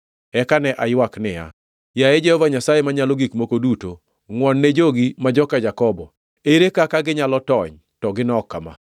Eka ne aywak niya, “Yaye Jehova Nyasaye Manyalo Gik Moko Duto, ngʼuonne jogi ma joka Jakobo. Ere kaka ginyalo tony, to ginok kama?”